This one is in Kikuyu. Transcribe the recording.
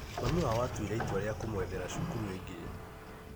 Mami wao atuire itwa rĩa kũmwethera cukuru ĩngĩ.